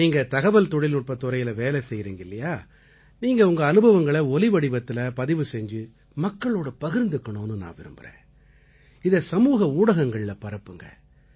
நீங்க தகவல்தொழில்நுட்பத் துறையில வேலை செய்யறீங்க இல்லையா நீங்க உங்க அனுபவங்களை ஒலிவடிவத்தில பதிவு செஞ்சு மக்களோட பகிர்ந்துக்கணும்னு நான் விரும்பறேன் இதை சமூக ஊடகங்கள்ல பரப்புங்க